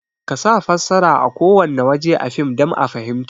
Kasa fassara a kowanne waje a fim dan a fahinmta